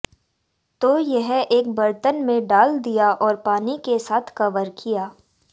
तो यह एक बर्तन में डाल दिया और पानी के साथ कवर किया